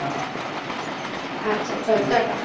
আচ্ছা চল Tata